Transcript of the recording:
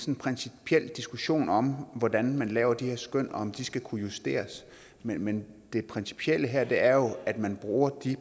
en principiel diskussion om hvordan man laver de her skøn og om de skal kunne justeres men det principielle her her er jo at man bruger de